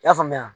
I y'a faamuya